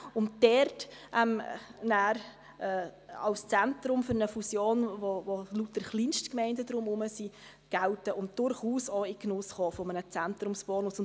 Das würde als Zentrum für eine Fusion gelten, um welches herum sich lauter Kleinstgemeinden befinden, und so durchaus auch in den Genuss eines Zentrumsbonus kommen.